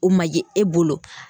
O ma ye e bolo.